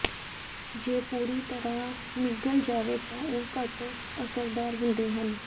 ਜੇ ਪੂਰੀ ਤਰ੍ਹਾਂ ਨਿਗਲ ਜਾਵੇ ਤਾਂ ਉਹ ਘੱਟ ਅਸਰਦਾਰ ਹੁੰਦੇ ਹਨ